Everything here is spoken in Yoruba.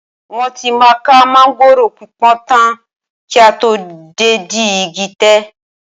Wọ́n tí máa ká máńgòrò pípọ́n tán kí a tó dédìí igi tẹ̀